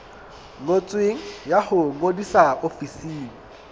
ngotsweng ya ho ngodisa ofising